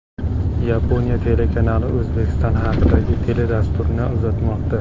Yaponiya telekanali O‘zbekiston haqidagi teledasturlarni uzatmoqda.